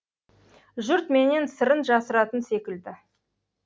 жұрт менен сырын жасыратын секілді